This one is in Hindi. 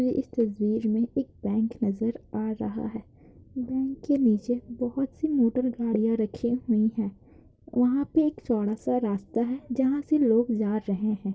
ये इस तस्वीर में एक बैंक नजर आ रहा है बैंक के नीचे बहुत सी मोटर गड़िया रखी हुई है वहाँ पे एक छोड़ा सा रास्ता है जहा से लोग जा रहे है।